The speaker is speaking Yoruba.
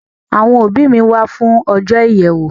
Àwọn òbí mi wá fún ọjọ́ ìyèwèwó.